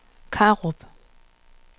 Karup